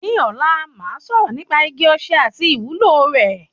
Ní ọ̀la màá sọ̀rọ̀ nípa igi osè àti ìwúlò rẹ̀.